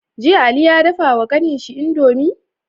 Jiya ali ya dafa wa kanin shi indomie?